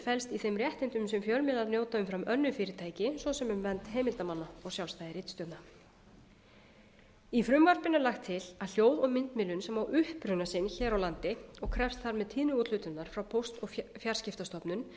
felst í þeim réttindum sem fjölmiðlar njóta umfram önnur fyrirtæki svo sem um vernd heimildarmanna og sjálfstæði ritstjórna í frumvarpinu er lagt til að hljóð og myndmiðlun sem á uppruna sinn hér á landi og krefst þar með tíðniúthlutunar frá póst og fjarskiptastofnun